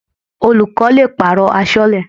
Olùkọ́ le pàrọ̀ aṣọ́lẹ́.